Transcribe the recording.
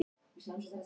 Hvað er nýsköpun?